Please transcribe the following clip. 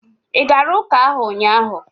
ị gara ụka ahụ ụnyaahụ?